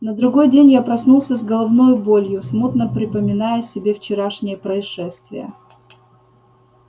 на другой день я проснулся с головною болью смутно припоминая себе вчерашние происшествия